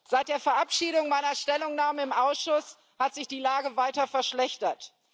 Seit der Verabschiedung meiner Stellungnahme im Ausschuss hat sich die Lage weiter verschlechtert.